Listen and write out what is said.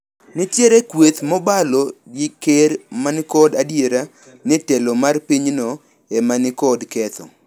Nitiere kweth mobalo gi ker manikod adier ni telo mar pinyno emanikod ketho.